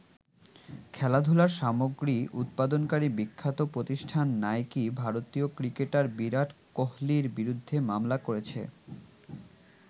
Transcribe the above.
খেলাধুলার সামগ্রী উৎপাদনকারী বিখ্যাত প্রতিষ্ঠান নাইকি ভারতীয় ক্রিকেটার বিরাট কোহলির বিরুদ্ধে মামলা করেছে।